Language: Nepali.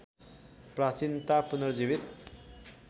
प्राचीनता पुनर्जीवित